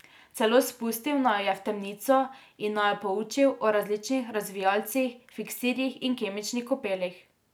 Celo spustil naju je v temnico in naju poučil o različnih razvijalcih, fiksirjih in kemičnih kopelih.